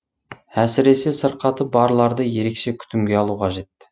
әсіресе сырқаты барларды ерекше күтімге алу қажет